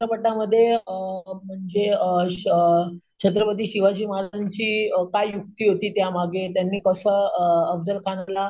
मध्ये अं म्हणजे अं छत्रपती शिवाजी महाराजांची अं काय युक्ती होती त्या मागे, त्यांनी कस अं अफझल खानाला,